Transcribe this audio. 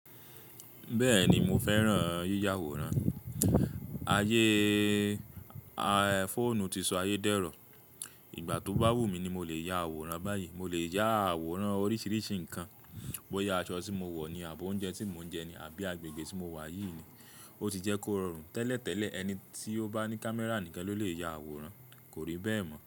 Bẹ́ẹ̀ni mo fẹ́ràn yíya àwòrán. Ayé fóònù ti sọ ayé dẹrọ. Ìgbà tó bá wù mí ni mo le ya àwòrán báyìí. Mo le ya àwòrán oríṣiríṣi nǹkan, bó ya aṣọ tí mo wọ̀ ni àbó oúnjẹ tí mò ń jẹ ní àbí agbègbè tí mo wà yìí ni. Ó ti jẹ́ kó rọrùn tẹ́lẹ̀tẹ́lẹ̀ ẹni tí ó bá ní camera nìkan ló lè ya àwòrán, kò rí bẹ́ẹ̀ mọ́.